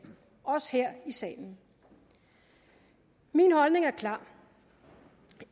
også her i salen min holdning er klar